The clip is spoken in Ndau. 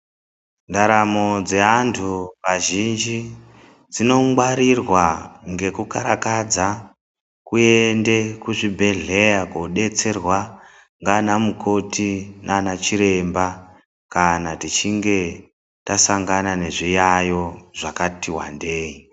Ndaramo dzeantu azhinji dzinongwarirwa ngekukarakadza kuende kuzvibhehleya kodetserwa ngana mukoti nana chiremba kana tichinge tasangana nezviyayo zvakati wandei.